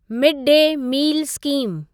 mid day meal scheme